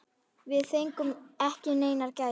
Við fengum ekki neinar gæsir.